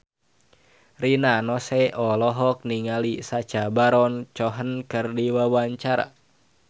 Rina Nose olohok ningali Sacha Baron Cohen keur diwawancara